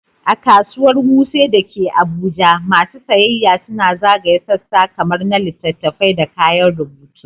A Kasuwar Wuse da ke Abuja, masu sayayya suna zagaya sassa kamar na littattafai da kayan rubutu.